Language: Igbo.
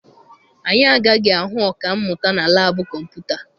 Anyị agaghị ahụ ọka mmụta na laabụ kọmputa.